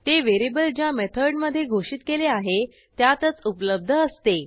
ते व्हेरिएबल ज्या मेथड मधे घोषित केले आहे त्यातच उपलब्ध असते